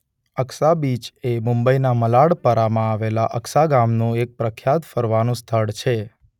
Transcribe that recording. Aksa beach એ મુંબઈ ના મલાડ પરામાં આવેલા અક્સા ગામનું એક પ્રખ્યાત ફરવાનું સ્થળ છે.